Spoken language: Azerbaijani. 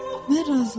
Mən razılaşdım.